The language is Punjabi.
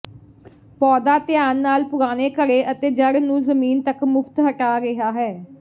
ਪੌਦਾ ਧਿਆਨ ਨਾਲ ਪੁਰਾਣੇ ਘੜੇ ਅਤੇ ਜੜ੍ਹ ਨੂੰ ਜ਼ਮੀਨ ਤੱਕ ਮੁਫ਼ਤ ਹਟਾ ਰਿਹਾ ਹੈ